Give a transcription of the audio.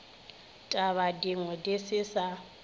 taba dingwe di se sa